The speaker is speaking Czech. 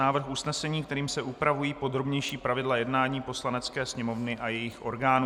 Návrh usnesení, kterým se upravují podrobnější pravidla jednání Poslanecké sněmovny a jejích orgánů